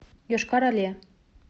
йошкар оле